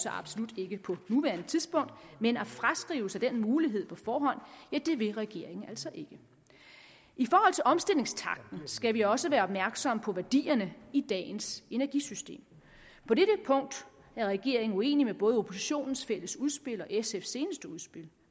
absolut ikke på nuværende tidspunkt men at fraskrive sig den mulighed på forhånd vil regeringen altså ikke i forhold til omstillingstakten skal vi også være opmærksomme på værdierne i dagens energisystem på dette punkt er regeringen uenig med både oppositionens fælles udspil og sfs seneste udspil